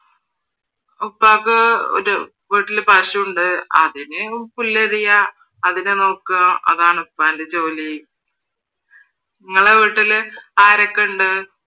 ഉപ്പാക്ക് ഒരു വീട്ടിൽ പശു ഇണ്ട് അതിന് പുല്ലരിയുവ അതിനെ നോക്കുക അതാണ് ഉപ്പാൻ്റെ ജോലി. ഇങ്ങള വീട്ടില് ആരൊക്കെയുണ്ട്?